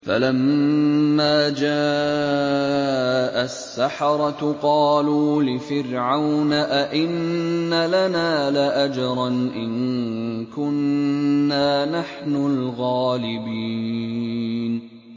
فَلَمَّا جَاءَ السَّحَرَةُ قَالُوا لِفِرْعَوْنَ أَئِنَّ لَنَا لَأَجْرًا إِن كُنَّا نَحْنُ الْغَالِبِينَ